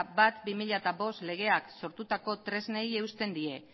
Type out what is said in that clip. bat barra bi mila bost legeak sortutako tresnei eusten die